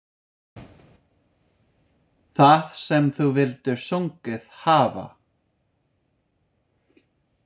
Það sem þú vildir sungið hafa.